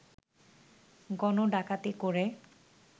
গণডাকাতি করে